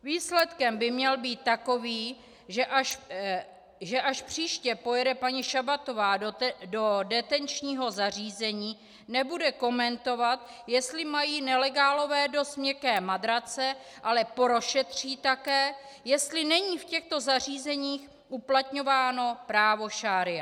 Výsledek by měl být takový, že až příště pojede paní Šabatová do detenčního zařízení, nebude komentovat, jestli mají nelegálové dost měkké matrace, ale prošetří také, jestli není v těchto zařízeních uplatňováno právo šaría.